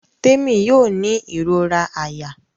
Temi yóò ní irora àyà.